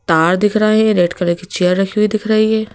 तार दिख रहे है रेड कलर के चेयर रखी हुई दिख रही है।